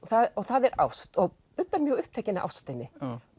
og það er ást og Bubbi er mjög upptekinn af ástinni